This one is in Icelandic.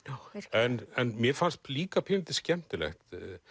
en mér fannst líka pínulítið skemmtilegt